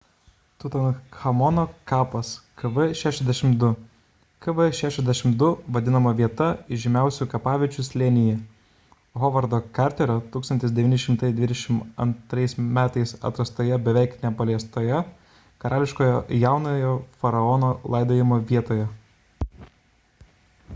tutanchamono kapas kv62. kv62 vadinama viena įžymiausių kapaviečių slėnyje hovardo karterio 1922 m. atrastoje beveik nepaliestoje karališkoje jaunojo faraono laidojimo vietoje